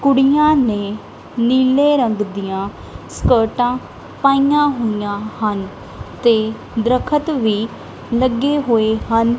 ਕੁੜੀਆਂ ਨੇਂ ਨੀਲੇ ਰੰਗ ਦੀਆਂ ਸਕਰਟਾਂ ਪਈਆਂ ਹੋਈਆਂ ਹਨ ਤੇ ਦਰਖਤ ਵੀ ਲੱਗੇ ਹੋਏ ਹਨ।